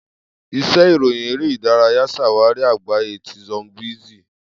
Ise iroyin ere idaraya ṣawari agbaye ti showbiz.